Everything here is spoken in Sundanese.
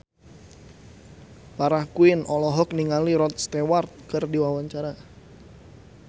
Farah Quinn olohok ningali Rod Stewart keur diwawancara